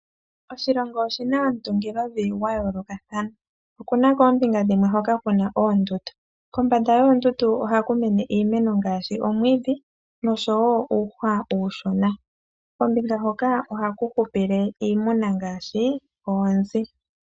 Oshilongo oshi na omutungilovi gwa yoolokathana. Oku na kombinga dhimwe hoka ku na oondundu. Kombanda yoondundu ohaku mene iimeno ngaashi omwiidhi nosho wo uuhwa uushona. Kombinga hoka ohaku hupile iimuna ngaashi oonzi.